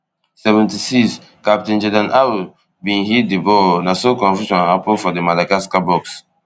seventy-sixcaptain jordan ayew bin hit di ball na so confusion happun for di madagascar box